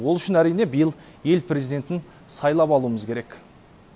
ол үшін әрине биыл ел президентін сайлап алуымыз керек